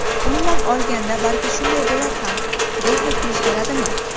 Umuman olganda, balki shunday bo‘lar ham... Brexit yuz beradimi?